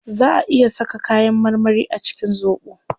Zaa a iya saka kayan marmari a cikin zobo